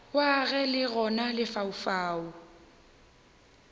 wa ge le gona lefaufau